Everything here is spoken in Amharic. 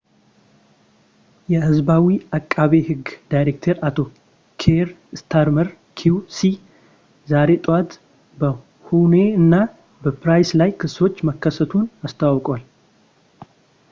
የሕዝባዊ ዓቃቤ ሕግ ዳይሬክተር አቶ ኪየር ስታርመር ኪው.ሲ ዛሬ ጠዋት በሁኔ እና በፕራይስ ላይ ክሶች መከሰቱን አስታውቋል